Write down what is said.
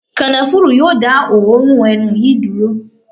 Kànáfùrú yóò dá òórùn ẹnu yìí dúró.